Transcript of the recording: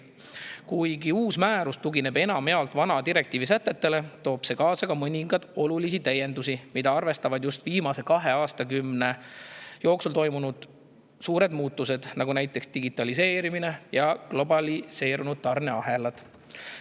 Kuigi uus määrus tugineb enamjaolt vana direktiivi sätetele, toob see kaasa ka mõningaid olulisi täiendusi, mis arvestavad just viimase kahe aastakümne jooksul toimunud suuri muutusi, näiteks digitaliseerimist ja globaliseerunud tarneahelaid.